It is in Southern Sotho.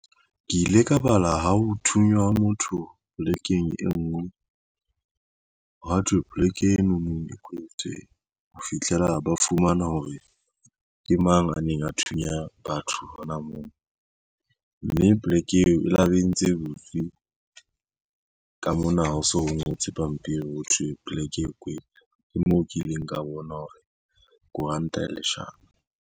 Ke ile ka bala ha ho thunya motho polekeng e ngwe ha thwe poleke eno no e kwetsweng ho fihlela ba fumana hore ke mang a neng a thunya batho hona moo mme poleke eo e la ba entse butswe ka mona ha o so ngotswe pampiring ho thwe poleke e kwetswe moo ke ileng ka bona hore koranta leshano.